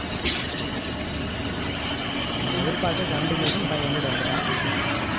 நம்ம எதிர்பார்த்த seventeen thousand five hundred வந்துட்டான்